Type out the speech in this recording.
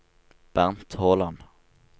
Bernt Håland